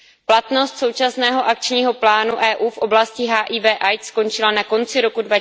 Platnost současného akčního plánu EU v oblasti HIV AIDS skončila na konci roku